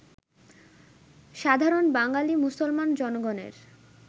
সাধারণ বাঙালী মুসলমান জনগণের